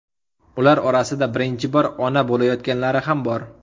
Ular orasida birinchi bor ona bo‘layotganlari ham bor.